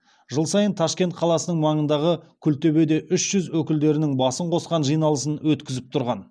жыл сайын ташкент қаласының маңындағы күлтөбеде үш жүз өкілдерінің басын қосқан жиналысын өткізіп тұрған